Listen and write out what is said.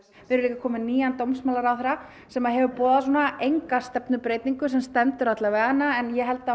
við erum komin með nýjan dómsmálaráðherra sem hefur boðað enga stefnubreytingu sem stendur alla vega en ég held að